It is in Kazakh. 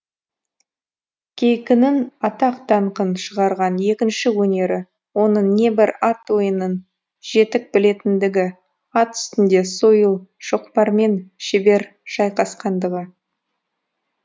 кейкінің атақ даңқын шығарған екінші өнері оның небір ат ойынын жетік білетіндігі ат үстінде сойыл шоқпармен шебер шайқасқандығы